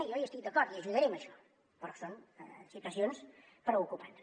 jo hi estic d’acord i ajudaré en això però són situacions preocupants